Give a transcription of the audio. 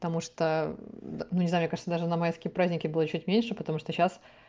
потому что ну не знаю мне кажется даже на майские праздники было чуть меньше потому что сейчас